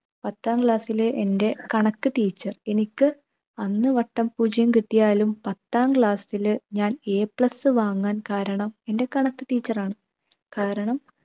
പത്താം class ലെ എൻ്റെ കണക്ക് teacher എനിക്ക് അന്ന് വട്ടപ്പൂജ്യം കിട്ടിയാലും പത്താം class ല് ഞാൻ A plus വാങ്ങാൻ കാരണം എൻ്റെ കണക്ക് ആണ്. കാരണം